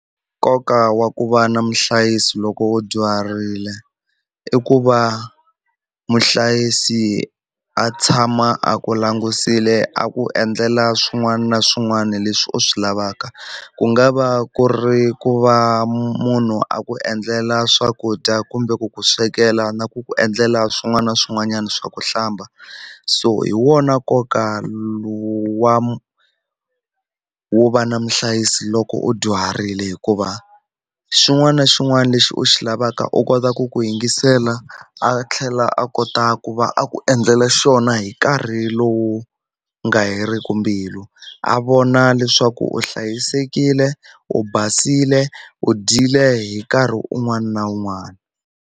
Nkoka wa ku va na muhlayisi loko u dyuharile i ku va muhlayisi a tshama a ku langutisile a ku endlela swin'wana na swin'wana leswi u swi lavaka ku nga va ku ri ku va munhu a ku endlela swakudya kumbe ku ku swekela na ku ku endlela swin'wana na swin'wanyana swa ku hlamba so hi wona nkoka wa wo va na muhlayisi loko u dyuharile hikuva xin'wana na xin'wana lexi u xi lavaka u kota ku ku yingisela a tlhela a kota ku va a ku endlela xona wona hi nkarhi lowu nga heriki mbilu a vona leswaku u hlayisekile u basile u dyile hi nkarhi un'wana na un'wana.